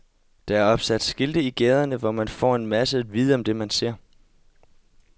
Der er opsat skilte i gaderne, hvor man får en masse at vide om det, man ser.